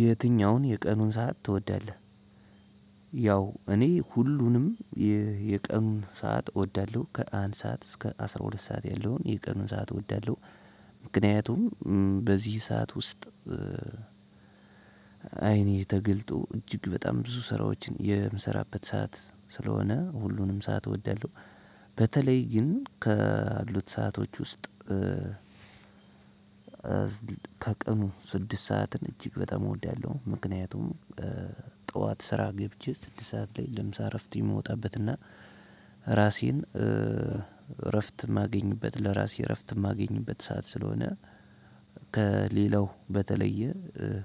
የትኛውን የቀኑን ሰዓት ትወዳለህ? ያው እኔ ሁሉንም የቀኑን ሰዓት እወዳለሁ። ከአንድ ሰዓት እስከ አስራ ሁለት ሰዓት ያለውን የቀኑን ሰዓት እወዳለሁ። ምክንያቱም በዚህ ሰዓት ውስጥ አይኔ ተገልጦ እጅግ በጣም ብዙ ስራዎችን የምሰራበት ሰዓት ስለሆነ ሁሉንም ሰዓት እወዳለሁ። በተለይ ግን ከአሉት ሰአቶች ውስጥ ከቀኑ ስድስት ሰዓትን እጅግ በጣም እወዳለሁ። ምክንያቱም ጠዋት ስራ ገብቼ ስድስት ሰዓት ላይ ለምሳ እረፍት የምወጣበትና ራሴን እረፍት የማገኝበት ለራሴ እረፍት የማገኝበት ሰዓት ስለሆነ ከሌላው በተለየ